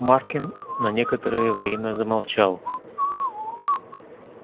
маркин на некоторое время замолчал